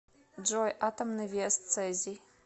джой атомный вес цезий